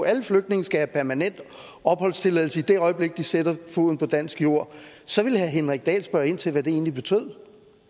at alle flygtninge skal have permanent opholdstilladelse i det øjeblik de sætter foden på dansk jord så ville herre henrik dahl spørge ind til hvad det egentlig betød